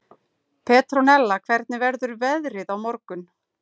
Petrónella, hvernig verður veðrið á morgun?